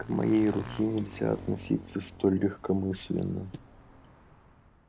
к моей руке нельзя относиться столь легкомысленно